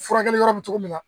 Furakɛli yɔrɔ bɛ cogo min na